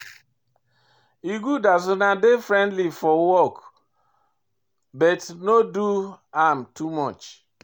E good as una dey friendly for work but no do am too much.